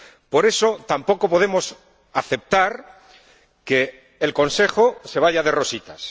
Por eso, tampoco podemos aceptar que el Consejo se vaya de rositas.